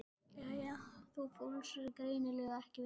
Jæja, þú fúlsar greinilega ekki við þessu.